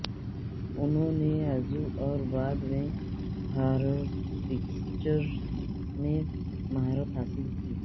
انہوں نے عضو اور بعد میں ہارپسکچرڈ میں مہارت حاصل کی